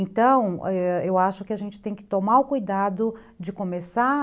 Então, ãh, eu acho que a gente tem que tomar o cuidado de começar...